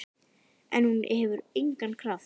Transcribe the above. En hún hefur engan kraft.